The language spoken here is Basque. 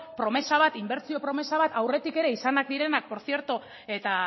promesa bat inbertsio promesa bat aurretik ere izanak direnak portzierto eta